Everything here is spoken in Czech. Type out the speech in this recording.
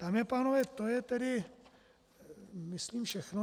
Dámy a pánové, to je tedy myslím všechno.